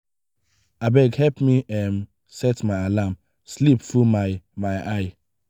abeg help me um set my alarm sleep full my my eye.